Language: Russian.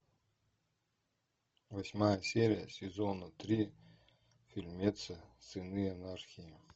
восьмая серия сезона три фильмец сыны анархии